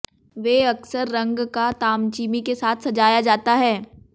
वे अक्सर रंग का तामचीनी के साथ सजाया जाता है